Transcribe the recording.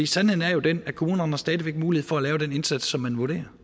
sandheden er jo den at kommunerne stadig væk har mulighed for at lave den indsats som man vurderer